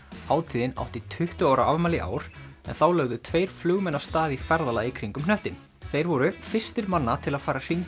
hátíðin átti tuttugu ára afmæli í ár en þá lögðu tveir flugmenn af stað í ferðalag í kringum hnöttinn þeir voru fyrstir manna til að fara hringinn